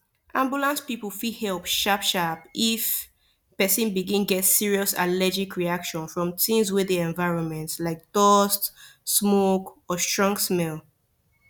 ambulance people fit help sharp sharp if person begin get serious allergic reaction from things wey dey environment like dust smoke or strong smell